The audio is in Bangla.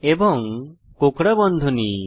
এবং কোঁকড়া বন্ধনী